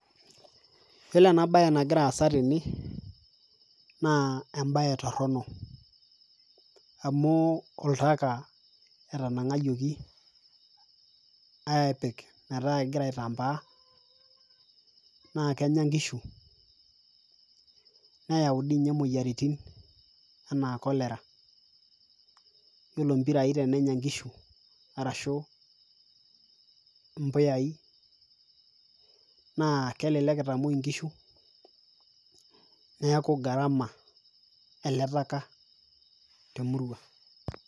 Iyiolo ena baye nagira aasa tene naa embaye torono amu oltaka etanang'ayioki aapik metaa egira aitambaa naake enya nkishu, neyau dii nye moyiaritin enaa cholera. Iyilo mpirai tenenya nkishu arashu mpuyai naa kelelek itamuoi nkishu neeku gharama ele taka te murua.